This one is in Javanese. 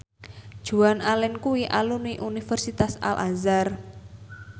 Joan Allen kuwi alumni Universitas Al Azhar